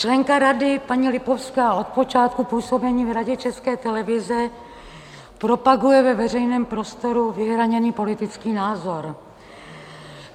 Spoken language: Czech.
Členka Rady paní Lipovská od počátku působení v Radě České televize propaguje ve veřejném prostoru vyhraněný politický názor.